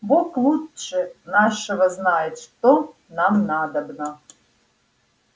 бог лучше нашего знает что нам надобно